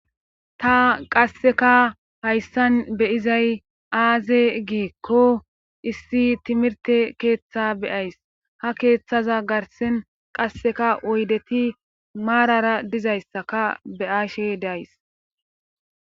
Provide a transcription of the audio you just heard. ta qasseka hayssan beyizay aaze giikko issi timirte keeththa beyays ha keeththaza garsin qasseka oydeti maarara dizayssaka beyashe days